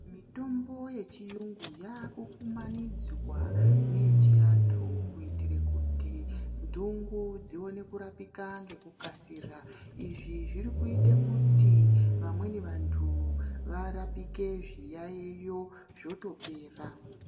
Mitombo yechiyungu yakukumanidzwa neyechiantu kuitire kuti ntungo dzione kurapika ngekukasika. Izvi zvirikuita kuti vamwe vantu varapike zviyaiyo zvotopera.